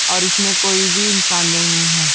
और इसमें कोई भी इंसान नहीं है।